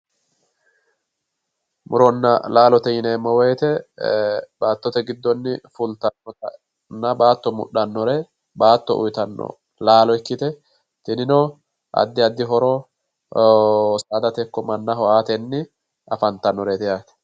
Murona lalote yinemo woyite ee batote gidonni fulitanotana bato mudhanore bato uyitano lalo ikite tinino adi adi horo sadate iko manaho aateni afantanoreti yate